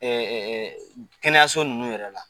Ee kɛnɛyaso ninnu yɛrɛ la